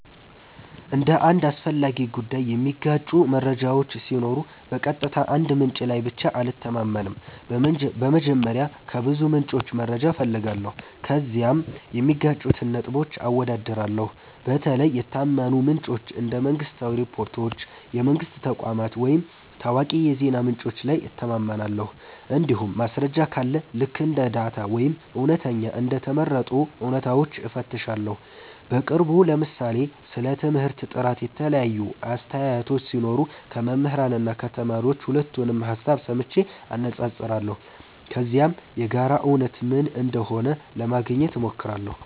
ስለ አንድ አስፈላጊ ጉዳይ የሚጋጩ መረጃዎች ሲኖሩ በቀጥታ አንድ ምንጭ ላይ ብቻ አልተማመንም። በመጀመሪያ ከብዙ ምንጮች መረጃ እፈልጋለሁ፣ ከዚያም የሚጋጩትን ነጥቦች አወዳድራለሁ። በተለይ የታመኑ ምንጮች እንደ መንግሥታዊ ሪፖርቶች፣ የትምህርት ተቋማት ወይም ታዋቂ የዜና ምንጮች ላይ እተማመናለሁ። እንዲሁም ማስረጃ ካለ ልክ እንደ ዳታ ወይም እውነተኛ እንደ ተመረጡ እውነታዎች እፈትሻለሁ። በቅርቡ ለምሳሌ ስለ ትምህርት ጥራት የተለያዩ አስተያየቶች ሲኖሩ ከመምህራን እና ከተማሪዎች ሁለቱንም ሀሳብ ሰምቼ አነፃፅራለሁ። ከዚያም የጋራ እውነት ምን እንደሆነ ለማግኘት ሞክራለሁ።